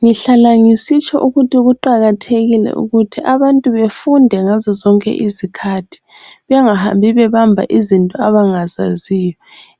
Ngihlala ngisitsho ukuthi kuqakathekile ukuthi abantu befunde ngazo sonke izikhathi bengahambi bebamba izinto abangazaziyo